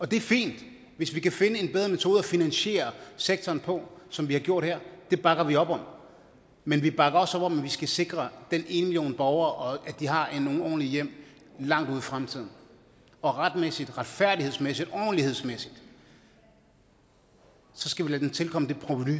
det er fint hvis vi kan finde en bedre metode at finansiere sektoren på som vi har gjort her det bakker vi op om men vi bakker også op om at vi skal sikre den ene million borgere og at de har nogle ordentlige hjem langt ude i fremtiden og retmæssigt retfærdighedsmæssigt ordentlighedsmæssigt skal vi lade dem tilkomme det provenu